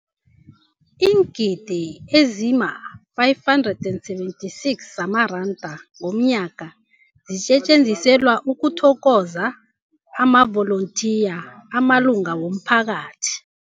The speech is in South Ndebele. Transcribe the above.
Iingidi ezima-576 zamaranda ngomnyaka zisetjenziselwa ukuthokoza amavolontiya amalunga womphakathi.